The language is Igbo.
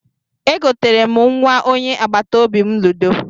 E goteere m nnwa onye agbataobi m ludo